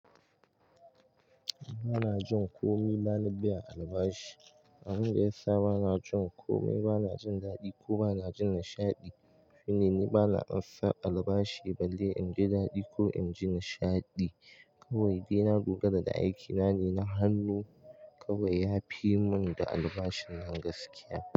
Ba na jin komai, ba na biya albashi. Abin da ya sa ba na jin komai, ba na jin daɗi ko ba na jin nishaɗi shine ni ba na ansa albashi balle in ji daɗi ko in ji nishaɗi. Kawai dai na dogara da aikina ne na hannu. Kawai ya fi mun da albashin nan gaskiya.